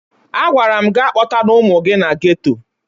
Agwara m gị akpọtana ụmụ gị na geto!